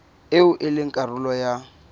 eo e leng karolo ya